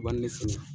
U b'a ni ne fɛnɛ